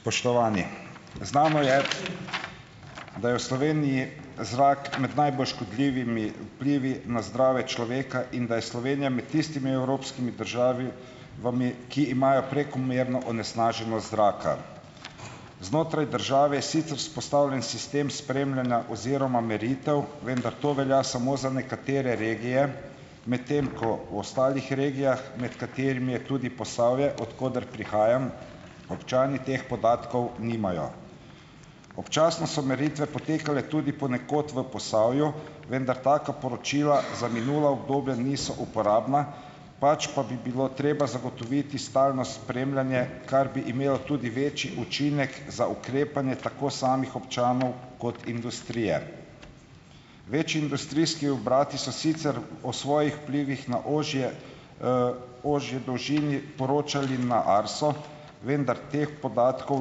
Spoštovani. Znano je, da je v Sloveniji zrak med najbolj škodljivimi vplivi na zdravje človeka in da je Slovenija med tistimi evropskimi vami, ki imajo prekomerno onesnaženost zraka. Znotraj države je sicer vzpostavljen sistem spremljanja oziroma meritev, vendar to velja samo za nekatere regije, medtem ko v ostalih regijah, med katerimi je tudi Posavje, od koder prihajam, občani teh podatkov nimajo. Občasno so meritve potekale tudi ponekod v Posavju, vendar taka poročila za minula obdobja niso uporabna, pač pa bi bilo treba zagotoviti stalno spremljanje, kar bi imelo tudi večji učinek za ukrepanje, tako samih občanov kot industrije. Večji industrijski obrati so sicer o svojih vplivih na ožje ožje dolžini poročali na Arso, vendar teh podatkov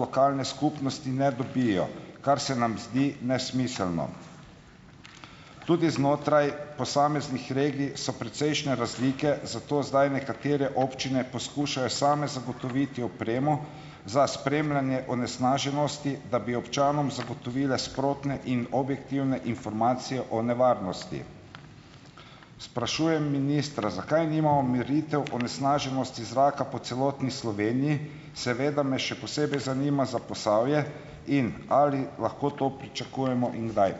lokalne skupnosti ne dobijo, kar se nam zdi nesmiselno. Tudi znotraj posameznih regij so precejšnje razlike, zato zdaj nekatere občine poskušajo same zagotoviti opremo za spremljanje onesnaženosti, da bi občanom zagotovile sprotne in objektivne informacije o nevarnosti. Sprašujem ministra. Zakaj nimamo meritev onesnaženosti zraka po celotni Sloveniji? Seveda me še posebej zanima za Posavje. In ali lahko to pričakujemo in kdaj?